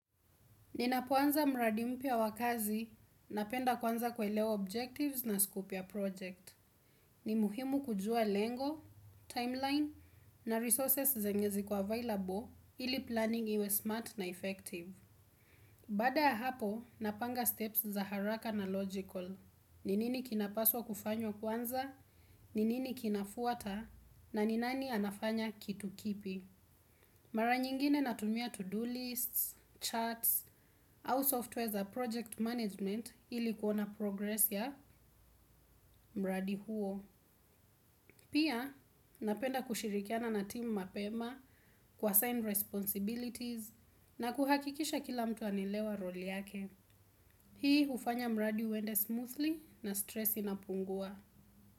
Ninapoanza mradi mpya wa kazi, napenda kwanza kuelewa objectives na scope ya project. Ni muhimu kujua lengo, timeline na resources zenye ziko available ili planning iwe smart na effective. Baada ya hapo, napanga steps za haraka na logical. Ni nini kinapaswa kufanywa kwanza, ni nini kinafuata, na ni nani anafanya kitu kipi. Mara nyingine natumia to do lists, charts au software za project management ili kuona progress ya mradi huo. Pia napenda kushirikiana na team mapema kuasign responsibilities na kuhakikisha kila mtu anaelewa role yake. Hii hufanya mradi uende smoothly na stress inapungua.